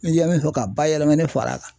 I yɛ min fɔ ka bayɛlɛmani far'a kan